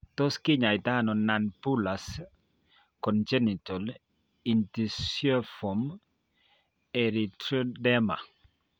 Tos kinyaaytano nonbullous congenital ichthyosiform erythroderma?